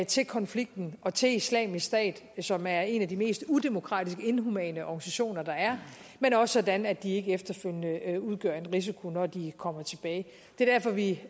til konflikten og til islamisk stat som er en af de mest udemokratiske inhumane organisationer der er men også sådan at de ikke efterfølgende udgør en risiko når de kommer tilbage det er derfor vi